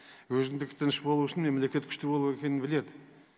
өзіндікі тыныш болу үшін мемлекет күшті болу екенін біледі